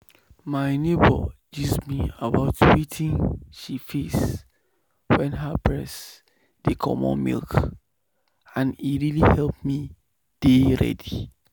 my neighbor gist me about wetin she face wen her breast dey comot milk and e really help me dey ready.